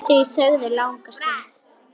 Þau þögðu langa stund.